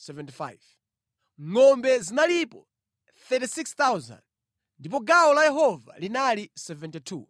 ngʼombe zinalipo 36,000 ndipo gawo la Yehova linali 72;